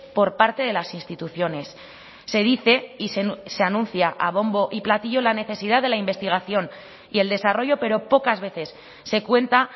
por parte de las instituciones se dice y se anuncia a bombo y platillo la necesidad de la investigación y el desarrollo pero pocas veces se cuenta